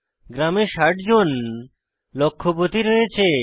গ্রামে 60 জন লক্ষপতি রয়েছে